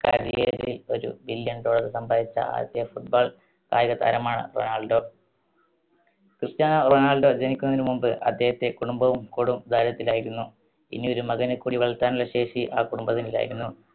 career ൽ ഒരു billion dollar സമ്പാദിച്ച ആദ്യത്തെ football കായികതാരമാണ് റൊണാൾഡോ. ക്രിസ്റ്റ്യാനോ റൊണാൾഡോ ജനിക്കുന്നതിന് മുൻപ് അദ്ദേഹത്തെ കുടുംബവും കൊടും ദാരിദ്രത്തിലായിരുന്നു. ഇനി ഒരു മകനെ കൂടി വളർത്താനുള്ള ശേഷി ആ കുടുംബത്തിനില്ലായിരുന്നു.